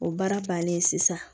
O baara bannen sisan